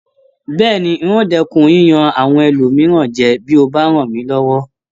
Bẹ́ẹ̀ni, n o dẹ́kun yíyan àwọn ẹlòmíràn jẹ bí o bá ràn mí lọwọ